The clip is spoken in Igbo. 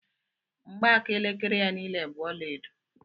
Mgbaaka elekere ya niile bú ọlaedo